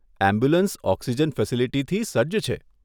Ambulance oxygen ફેસીલીટીથી સજ્જ છે.